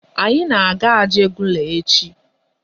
Anyị na-aga Ajugunle echi.